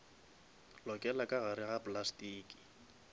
lokela ka gare ga plastiki